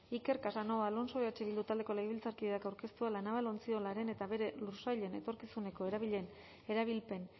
iker casanova alonso eh bildu taldeko legebiltzarkideak aurkeztua la naval ontziolaren eta bere lursailen etorkizuneko erabilpen